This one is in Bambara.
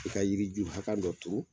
I ka yiriju hakɛ dɔ turu